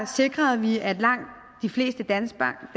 sikrede vi at langt de fleste danskere